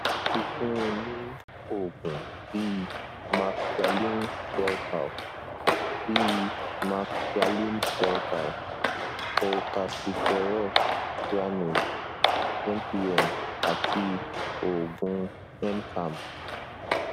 a ti fún un ní oògùn bíi maxgalin shelcal bíi maxgalin shelcal cholcalciferol granules mpm àti oògùn mcam